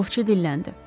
Ovçu dilləndi: